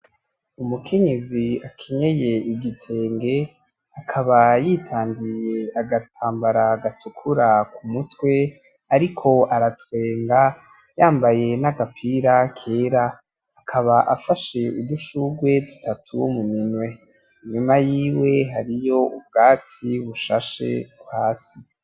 Umukenyezi akenyeye igitenge akaba yitandiye agatambara gatukura kumutwe ariko aratwenga yambaye n'agapira kera akaba afashe udushurwe dutatu muminwe inyuma yiwe hariyo ubwatsi bushashe hasi.